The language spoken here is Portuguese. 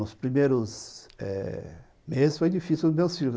Nos primeiros eh meses foi difícil, meus filhos.